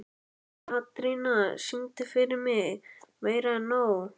Katrína, syngdu fyrir mig „Meira En Nóg“.